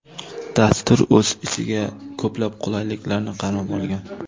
Dastur o‘z ichiga ko‘plab qulayliklarni qamrab olgan.